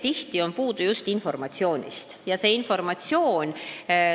Tihti on just informatsioonist puudus.